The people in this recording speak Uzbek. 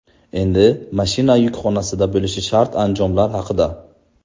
Endi mashina yukxonasida bo‘lishi shart anjomlar haqida.